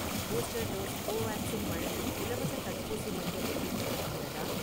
Booster dose Covaxin வழங்கும் இலவசத் தடுப்பூசி மையம் எதுவும் இருக்கிறதா?